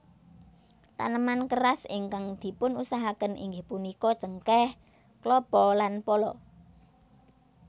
Taneman keras ingkang dipunusahakaken inggih punika cengkeh klapa lan pala